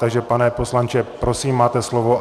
Takže pane poslanče, prosím, máte slovo.